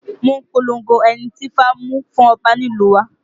Wọ́n polongo ẹni tí ifá mú fún ọba nílùú wa